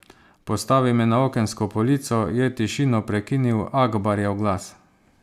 Postavi me na okensko polico, je tišino prekinil Akbarjev glas.